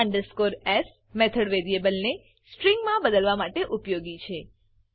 to s method variable ને string મા બદલવા માટે ઉપયોગી છે